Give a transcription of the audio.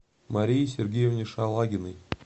марии сергеевне шалагиной